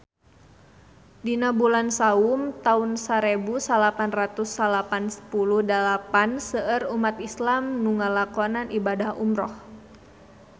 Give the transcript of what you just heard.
Dina bulan Saum taun sarebu salapan ratus salapan puluh dalapan seueur umat islam nu ngalakonan ibadah umrah